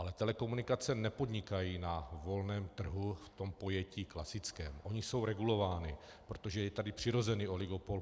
Ale telekomunikace nepodnikají na volném trhu v tom pojetí klasickém, ony jsou regulovány, protože je tady přirozený oligopol.